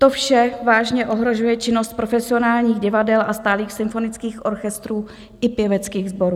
To vše vážně ohrožuje činnost profesionálních divadel a stálých symfonických orchestrů i pěveckých sborů.